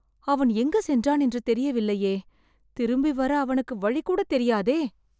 அவன் எங்கு சென்றான் என்று தெரியவில்லையே.. திரும்பி வர அவனுக்கு வழி கூட தெரியாதே